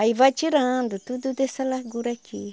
Aí vai tirando tudo dessa largura aqui.